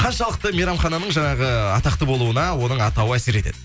қаншалықты мейрамхананың жаңағы атақты болуына оның атауы әсер етеді